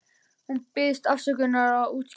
Hún biðst afsökunar og útskýrir það.